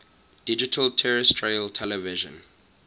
digital terrestrial television